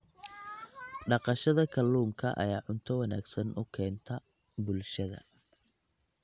Dhaqashada kalluunka ayaa cunto wanaagsan u keenta bulshada.